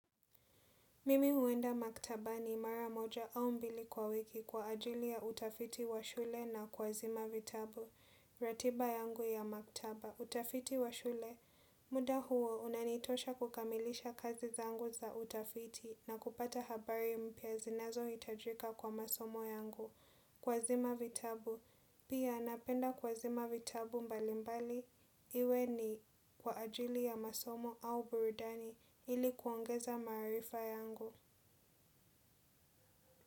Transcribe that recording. Mimi huenda maktaba ni mara moja au mbili kwa wiki kwa ajili ya utafiti wa shule na kua zima vitabu. Ratiba yangu ya maktaba, utafiti wa shule. Muda huo, unanitosha kukamilisha kazi za angu za utafiti na kupata habari mpya zinazo hitajika kwa masomo yangu. Kwa zima vitabu. Pia napenda kua zima vitabu mbali mbali iwe ni kwa ajili ya masomo au burudani ilikuongeza maarifa yangu.